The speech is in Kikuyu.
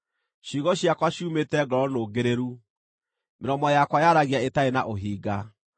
Ciugo ciakwa ciumĩte ngoro nũngĩrĩru; mĩromo yakwa yaragia ĩtarĩ na ũhinga.